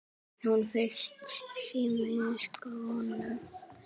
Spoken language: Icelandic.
Hún frýs í miðjum smók.